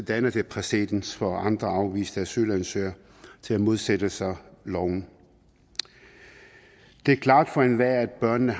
danner det præcedens for andre afviste asylansøgere til at modsætte sig loven det er klart for enhver at børnene